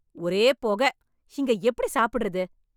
ஒரே புகை. இங்கே எப்படி சாப்பிடறது?